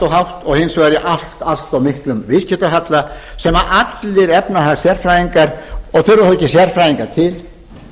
hátt og hins vegar í allt allt of miklum viðskiptahalla sem allir efnahagssérfræðingar og þarf ekki sérfræðinga til